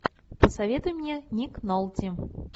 посоветуй мне ник нолти